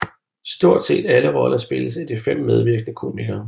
Stort set alle roller spilles af de fem medvirkende komikere